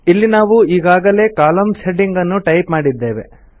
ಇಲ್ಲಿ ನಾವು ಈಗಾಗಲೇ ಕಾಲಮ್ಸ್ ಹೆಡಿಂಗ್ ಅನ್ನು ಟೈಪ್ ಮಾಡಿದ್ದೇವೆ